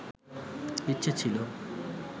ইচ্ছে ছিলো